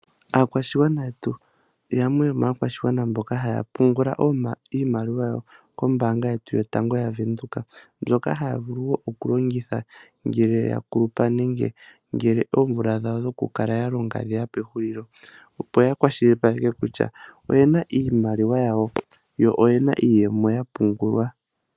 Akwashingwana yetu yamwe yo ma kwashingwana mboka haya pungula iimaliwa yawo kombanga yetu yotango ya venduka mbyoka haya vulu wo okulongitha ngele yakulupa nenge ngele oovula dhawo dho kukala walonga dheya pehulilo opo yakwashilipaleke kutya oyena iimaliwa yawo yo oyena iiyemo yapungulwa.